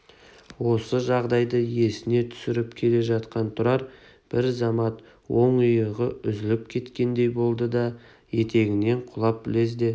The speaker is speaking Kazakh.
осы жайды есіне түсіріп келе жатқан тұрар бір замат оң иығы үзіліп түскендей болды да етпетінен құлап лезде